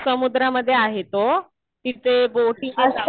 हो. समुद्रामध्ये आहे तो. तिथे बोटिंग ने जावं लागतं.